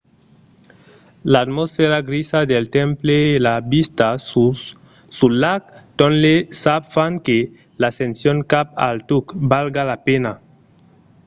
l’atmosfèra grisa del temple e la vista sul lac tonle sap fan que l'ascension cap al tuc valga la pena